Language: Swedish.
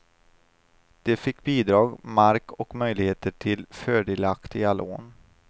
De fick bidrag, mark och möjligheter till fördelaktiga lån.